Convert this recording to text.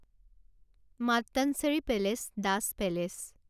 Mattancherry palace Dutch palace